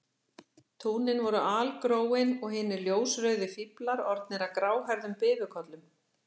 Túnin voru algróin og hinir ljósrauðu fíflar orðnir að gráhærðum bifukollum